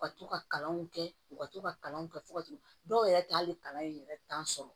U ka to ka kalanw kɛ u ka to ka kalanw kɛ fo ka t'u dɔw yɛrɛ t'ale kalan in yɛrɛ sɔrɔ